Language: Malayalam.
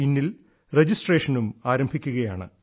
ഇന്നിൽ ൽ രജിസ്ട്രേഷനും ആരംഭിക്കുകയാണ്